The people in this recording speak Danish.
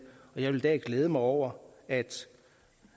og jeg vil i dag glæde mig over at